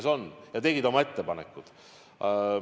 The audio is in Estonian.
Ja nad tegid oma ettepanekud.